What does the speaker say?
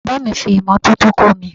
Bàbáà mi fi imọ́tótó kọ́ mi.